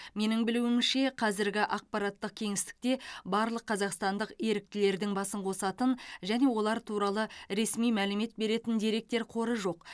менің білуімше қазіргі ақпараттық кеңістікте барлық қазақстандық еріктілердің басын қосатын және олар туралы ресми мәлімет беретін деректер қоры жоқ